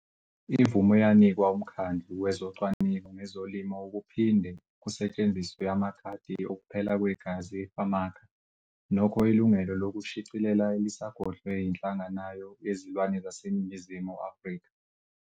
Imvume yanikwa uMkhandlu wezoCwaningo ngezoLimo ukuphinde kusetshenziswe amakhadi okuphela kwegazi EFAMACHA, nokho ilungelo lokushicilela lisagodlwe yiNhlanganayo yeziLwane yaseNingizimu Afrika.